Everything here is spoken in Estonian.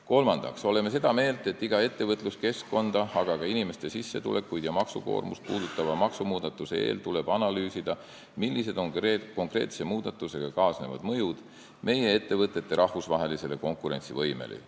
Kolmandaks, oleme seda meelt, et iga ettevõtluskeskkonda, aga ka inimeste sissetulekuid ja maksukoormust puudutava maksumuudatuse eel tuleb analüüsida, millised on konkreetse muudatusega kaasnevad mõjud meie ettevõtete rahvusvahelisele konkurentsivõimele.